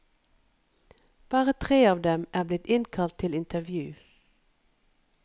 Bare tre av dem er blitt innkalt til intervju.